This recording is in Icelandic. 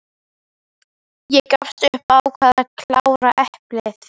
Ég gafst upp og ákvað að klára eplið.